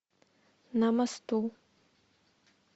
на мосту